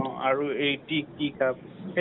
আৰু এই tea tea cup